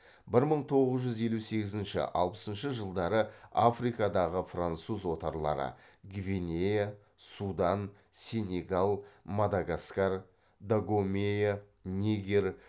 бір мың тоғыз жүз елу сегізінші алпысыншы жылдары африкадағы француз отарлары гвинея судан сенегал мадагаскар дагомея нигер